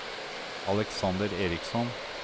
Alexander Eriksson